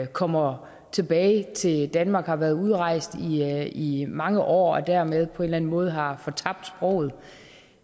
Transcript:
kommer tilbage til danmark og har været udrejst i mange år og dermed på en eller anden måde har fortabt sproget